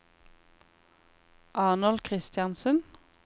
Arnold Kristiansen